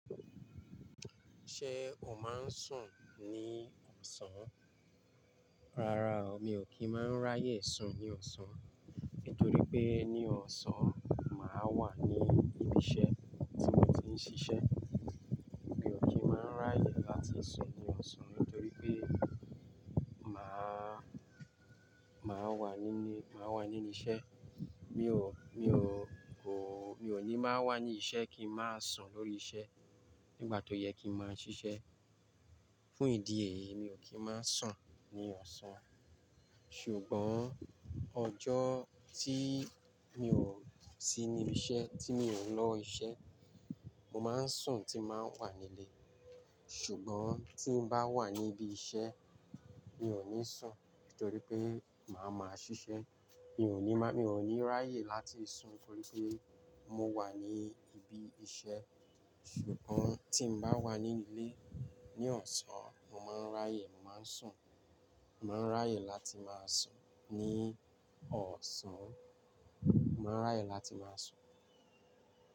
Ṣé o máa ń sùn ní ọ̀sán? Rárá o, mi ò kí ń máa ń ráyè sùn ní ọ̀sán. Nítorí pé ní ọ̀sán, màá wà ní ibi iṣẹ́ tí mo ti ń ṣiṣẹ́. Mi ò kí ń máa ń ráyè láti sùn ní ọ̀sán nítorí pé màá, màá wà níbi, màá wà níbí ṣẹ́. Mi ò, mi ò kò, mi ò ní máa wà ní iṣẹ́ kí n máa sùn lórí iṣẹ́ nígbà tó yẹ kí n máa ṣiṣẹ́. Fún ìdí èyí, mi ò kí ń máa ń sùn ní ọ̀sán. Ṣùgbọ́n ọjọ́ tí mi ò sí níbi iṣẹ́, tí mi ò ń lọ iṣẹ́, mo máa ń sùn tín bàá wà nílé. Ṣùgbọ́n tí n bá wà ní ibi iṣẹ́, mi ò ní sùn nítorí pé màá máa ṣiṣẹ́. Mi ò ní má, mi ò ní ráyè láti sùn nítorí pé mo wà ní ibi iṣẹ́. Ṣùgbọ́n tí n bá wà nílé ní ọ̀sán, mo máa ń ráyè, mo màá ń sùn. Mo maa ń ráyè láti máa sùn ní ọ̀sán. Màá ń ráyè láti máa sùn.